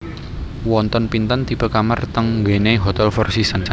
Wonten pinten tipe kamar teng nggene Hotel Four Seasons